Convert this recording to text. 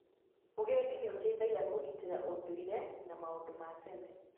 Ũgendi nĩ ũteithagia kũgitĩra ũndũire na maũndũ ma tene.